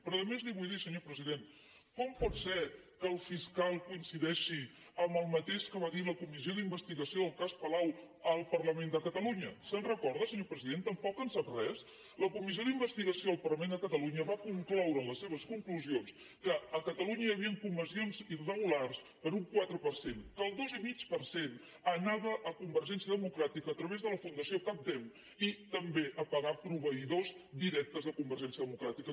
però a més li vull dir senyor president com pot ser que el fiscal coincideixi amb el mateix que va dir la comissió d’investigació del cas palau al parlament de catalunya se’n recorda senyor president tampoc en sap res la comissió d’investigació del parlament de catalunya va concloure en les seves conclusions que a catalunya hi havien comissions irregulars per un quatre per cent que el dos i mig per cent anava a convergència democràtica a través de la fundació catdem i també a pagar proveïdors directes de convergència demo·cràtica